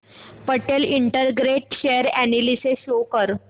Patel integrate share analysis show कर